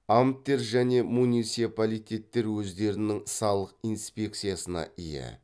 амттер және муниципалитеттер өздерінің салық инспекциясына ие